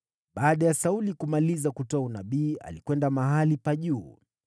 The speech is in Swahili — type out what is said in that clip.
Baada ya Sauli kumaliza kutoa unabii, alikwenda mahali pa juu.